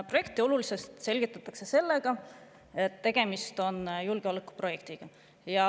Projekti olulisust selgitatakse sellega, et tegemist on julgeolekuprojektiga.